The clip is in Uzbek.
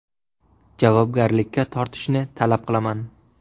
Javobgarlikka tortishni talab qilaman.